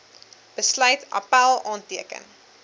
besluit appèl aanteken